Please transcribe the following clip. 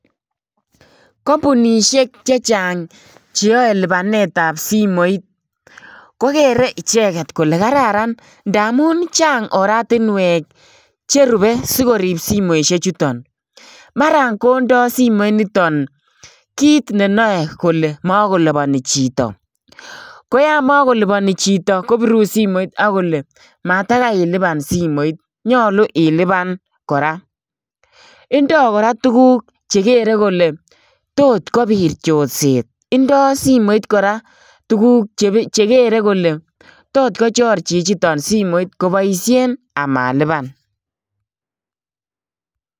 Kampunishek chechang cheyae lipanetap simoit, kokere icheket kole kararan. Ndaamun chang oratunwek cherube sikorip simoishek chuton. Mara kondoi simoit niton kit ne nae kole makolipani chito. Ko yamakolipani chito, kopiru simoit kole matakai ilipan smoit. Nyolu ilipan kora. Indoi kora tuguk che kere kole tot kobit chorset. Indoi simoit kora tuguk chekere kole tot kochor chichito simoit koboisien amalipan.